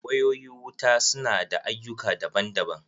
Wayoyi wuta su na da ayyuka daban daban.